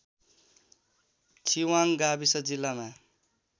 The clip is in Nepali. छिवाङ गाविस जिल्लाका